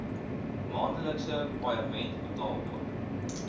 maandelikse paaiement betaalbaar